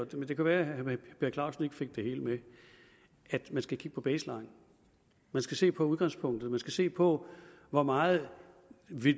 men det kan være at herre per clausen ikke fik det hele med at man skal kigge på baseline man skal se på udgangspunktet man skal se på hvor meget